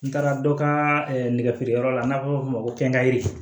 N taara dɔ ka nɛgɛ feereyɔrɔ la n'an b'a fɔ o ma ko nkayiri